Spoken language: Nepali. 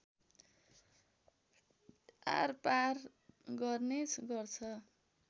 आरपार गर्ने गर्छ